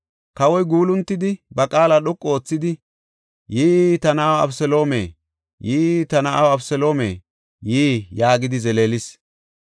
Kawoy guuluntidi, ba qaala dhoqu oothidi, “Yii, ta na7aw Abeseloome! Yii, ta na7aw! Abeseloome yii!” yaagidi zeleelis.